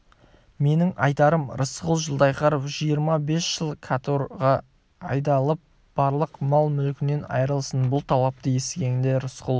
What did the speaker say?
менің айтарым рысқұл жылқайдаров жиырма бес жыл каторгаға айдалып барлық мал-мүлкінен айырылсын бұл талапты естігенде рысқұл